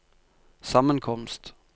sammenkomst